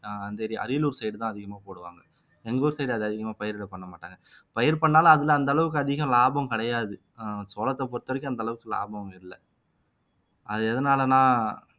அஹ் Ariyalur side தான் அதிகமா போடுவாங்க எங்க ஊர் side அது அதிகமா பயிரிட பண்ண மாட்டாங்க பயிர் பண்ணாலும் அதுல அந்த அளவுக்கு அதிகம் லாபம் கிடையாது அஹ் சோளத்தை பொறுத்தவரைக்கும் அந்த அளவுக்கு லாபம் இல்லை அது எதனாலன்னா